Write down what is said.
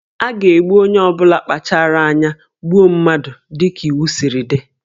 A ga-egbu onye ọ bụla kpachaara anya gbuo mmadụ dị ka iwu siri dị